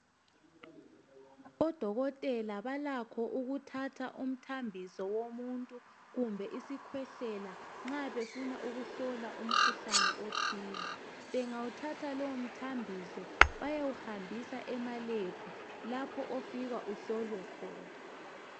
Odokotela balakho ukuthatha umthambiso kumbe isikhwehlelo somuntu nxa befuna ukuhlola umkhuhlane othize. Bangawuthatha lowomthambiso bayawuhambisa emalembu lapho ofika uhlolwe khona.